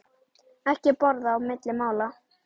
Ekki borða á milli mála.